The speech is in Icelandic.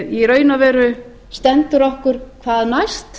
í raun og veru stendur okkur hvað næst